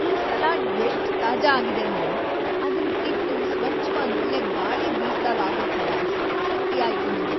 ಈ ಸಲಾಡ್ ಎಷ್ಟ್ ತಾಜಾ ಆಗಿದೆ ಅಂದ್ರೆ ಅದನ್‌ ತಿಂದು ಸ್ವಚ್ಛವಾದ್ ಒಳ್ಳೆ ಗಾಳಿ‌ ಬೀಸ್ದಾಗ್‌ ಆಗೋ ಥರ ಸಂತೃಪ್ತಿ ಆಯ್ತು ನಂಗೆ.